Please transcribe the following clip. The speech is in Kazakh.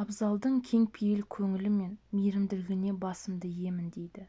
абзалдың кеңпейіл көңілі мен мейірімділігіне басымды иемін дейді